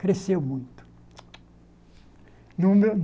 Cresceu muito.